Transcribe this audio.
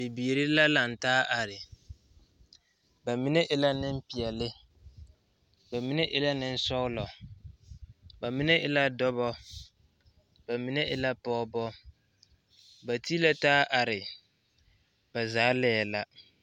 Bibirii la laŋ taa a be ba mine e la nempeɛle ba mine e la nensɔglɔ ba mine e la dɔba ba mine e la pɔgeba ba ti la taa are ba zaa laɛ la.